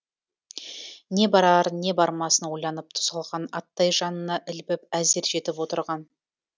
не барарын не бармасын ойланып тұсалған аттай жанына ілбіп әзер жетіп отырған